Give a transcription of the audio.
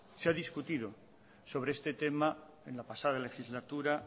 se ha discutido sobre este tema en la pasada legislatura